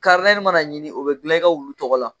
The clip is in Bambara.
ni mana ɲini o bɛ dilan i ka wulu tɔgɔ la.